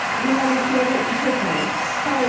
Mühərrikləri işə salın, sayıram.